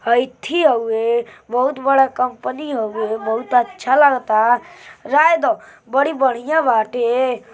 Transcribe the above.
हई थी हउवे। बहुत बड़ा कम्पनी हउवे। बहुत अच्छा लागता। राय द बड़ी बढ़िया बाटे।